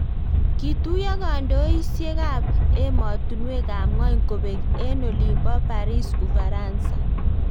Kituyo kandoisiekab emotunwekab ngwony kobek eng olin bo Paris Ufaransa